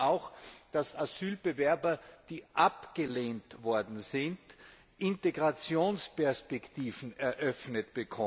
Sie fordern auch, dass man Asylbewerbern, die abgelehnt worden sind, Integrationsperspektiven eröffnet.